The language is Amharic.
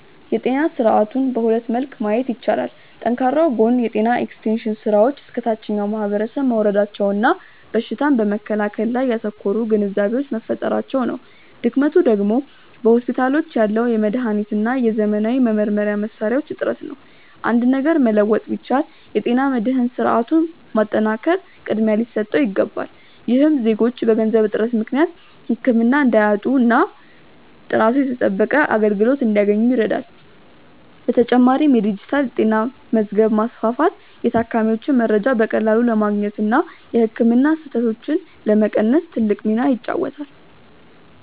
የጤና ስርዓቱን በሁለት መልክ ማየት ይቻላል። ጠንካራው ጎን የጤና ኤክስቴንሽን ስራዎች እስከ ታችኛው ማህበረሰብ መውረዳቸውና በሽታን በመከላከል ላይ ያተኮሩ ግንዛቤዎች መፈጠራቸው ነው። ድክመቱ ደግሞ በሆስፒታሎች ያለው የመድኃኒትና የዘመናዊ መመርመሪያ መሣሪያዎች እጥረት ነው። አንድ ነገር መለወጥ ቢቻል፣ የጤና መድህን ስርዓቱን ማጠናከር ቅድሚያ ሊሰጠው ይገባል። ይህም ዜጎች በገንዘብ እጥረት ምክንያት ህክምና እንዳያጡና ጥራቱ የተጠበቀ አገልግሎት እንዲያገኙ ይረዳል። በተጨማሪም የዲጂታል ጤና መዝገብ ማስፋፋት የታካሚዎችን መረጃ በቀላሉ ለማግኘትና የህክምና ስህተቶችን ለመቀነስ ትልቅ ሚና ይጫወታል።